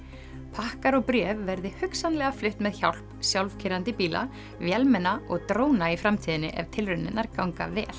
pakkar og bréf verði hugsanlega flutt með hjálp sjálfkeyrandi bíla vélmenna og dróna í framtíðinni ef tilraunirnar ganga vel